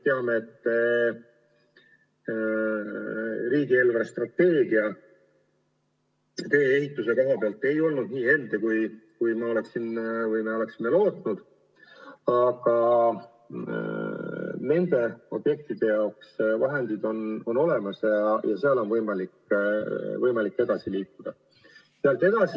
Teame, et riigi eelarvestrateegia tee-ehituse vallas ei olnud nii helde, kui me lootsime, aga nende objektide jaoks on vahendid olemas ja nendega on võimalik edasi liikuda.